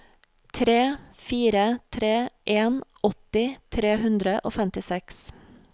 tre fire tre en åtti tre hundre og femtiseks